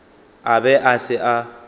a be a se a